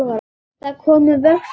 Það komu vöflur á mömmu.